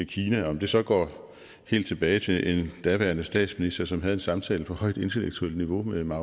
kina om det så går helt tilbage til en daværende statsminister som havde en samtale på højt intellektuelt niveau med mao